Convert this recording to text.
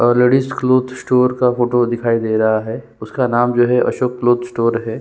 और ladies cloth store का photo दिखाई दे रहा है उसका नाम जो है अशोक क्लॉथ स्टोर है ।